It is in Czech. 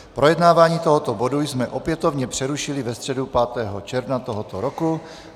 Projednávání tohoto bodu jsme opětovně přerušili ve středu 5. června tohoto roku.